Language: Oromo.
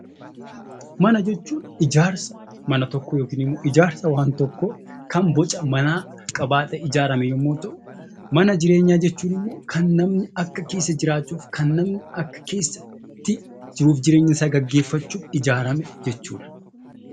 Mana jechuun ijaarsa mana tokkoo yookiin ijaarsa waan tokkoo kan boca manaa qabaatee ijaaramudha. Mana jireenyaa jechuun immoo kan namni akka keessa jiraachuuf , jiruu fi jireenya isaa gaggeeffachuuf ijaarame jechuudha.